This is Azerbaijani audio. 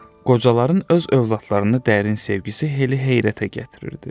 Qocaların öz övladlarına dərin sevgisi Helli heyrətə gətirirdi.